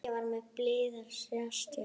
Ég var með bilaða ratsjá.